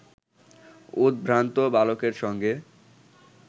উদ্ভ্রান্ত বালকের সঙ্গে